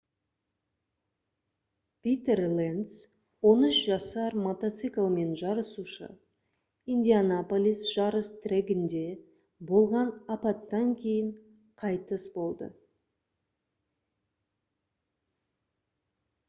питер ленц 13 жасар мотоциклмен жарысушы индианаполис жарыс трегінде болған апаттан кейін қайтыс болды